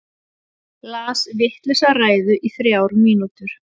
Las vitlausa ræðu í þrjár mínútur